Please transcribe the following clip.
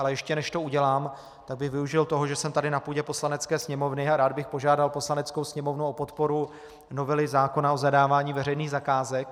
Ale ještě než to udělám, tak bych využil toho, že jsem tady na půdě Poslanecké sněmovny, a rád bych požádal Poslaneckou sněmovnu o podporu novely zákona o zadávání veřejných zakázek.